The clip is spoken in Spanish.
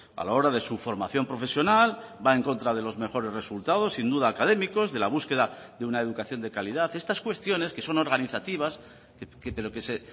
a la hora de su formación profesional va en contra de los mejores resultados sin duda académicos de la búsqueda de una educación de calidad estas cuestiones que son organizativas pero que se